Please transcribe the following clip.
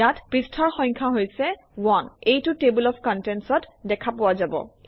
ইয়াত পৃষ্ঠাৰ সংখ্যা হৈছে 1 এইটো টেবল অফ contents- অত দেখা পোৱা যাব